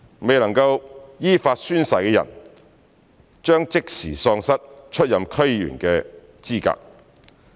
未能依法宣誓的人將即時喪失出任區議員的資格。